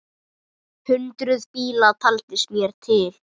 Hundruð bíla, taldist mér til!